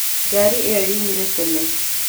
Ngari ĩyo yoimire tene.